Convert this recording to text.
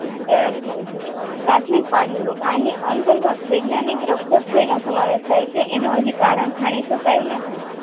કારણ થઈ છે પ્રાથમિક પાંડુ રોગ આની અંતર્ગત વિજ્ઞાની એનું હાજી કારણ જાણી શકાયું નહિ